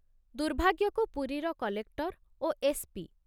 ଦୁର୍ଭାଗ୍ୟକୁ ପୁରୀର କଲେକ୍ଟର ଓ S P